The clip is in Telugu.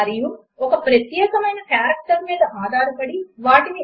అవి ఈక్వల్ టు కారెక్టర్ పైన ఖచ్చితముగా ఎలైన్ చేయబడలేదు అన్న విషయమును గమనించండి